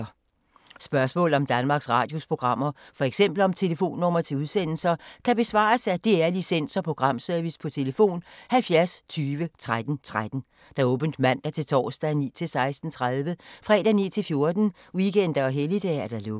Spørgsmål om Danmarks Radios programmer, f.eks. om telefonnumre til udsendelser, kan besvares af DR Licens- og Programservice: tlf. 70 20 13 13, åbent mandag-torsdag 9.00-16.30, fredag 9.00-14.00, weekender og helligdage: lukket.